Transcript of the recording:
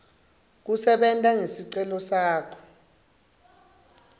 kusebenta ngesicelo sakho